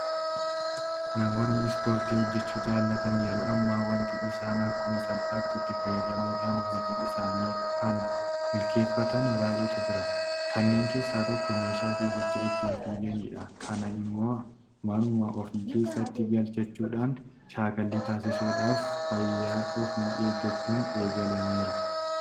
Namoonni Ispoortii hojjechuu jaalatan yeroo ammaa waanti isaan akkuma salphaatti itti fayyadamuudhaan hojii isaanii kana milkeeffatan baay'eetu jira. Kanneen keessaa tokko meeshaa fiigicha ittiin fiiganidha. Kana immoo manuma ofii keessatti galfachuudhaan shaakallii taasisuudhaaf fayyaa ofiis eeggachuun eegalameera.